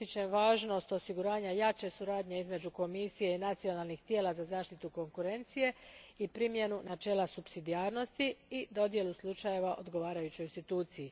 Ističem važnost osiguranja jače suradnje između Komisije i nacionalnih tijela za zaštitu konkurencije i primjenu načela supsidijarnosti i dodjelu slučajeva odgovarajućoj instituciji.